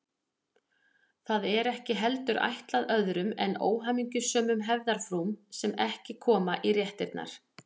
Það er ekki heldur ætlað öðrum en óhamingjusömum hefðarfrúm sem ekki koma í réttirnar.